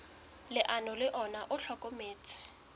leano le ona o hlokometse